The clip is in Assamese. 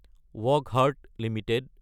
ৱকহাৰ্ডট এলটিডি